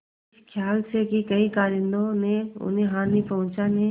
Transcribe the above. इस खयाल से कि कहीं कारिंदों ने उन्हें हानि पहुँचाने